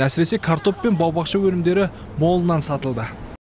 әсіресе картоп пен бау бақша өнімдері молынан сатылды